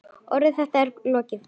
Orðum þeirra er lokið.